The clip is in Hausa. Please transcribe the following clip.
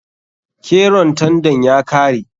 Keron tandan ya kare.